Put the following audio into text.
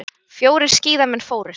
Fjórir skíðamenn fórust